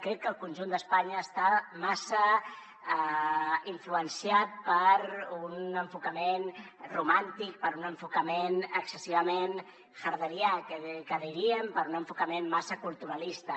crec que el conjunt d’espanya està massa influenciat per un enfocament romàntic per un enfocament excessivament herderià diríem per un enfocament massa culturalista